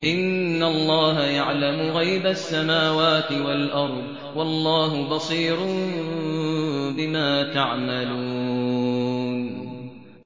إِنَّ اللَّهَ يَعْلَمُ غَيْبَ السَّمَاوَاتِ وَالْأَرْضِ ۚ وَاللَّهُ بَصِيرٌ بِمَا تَعْمَلُونَ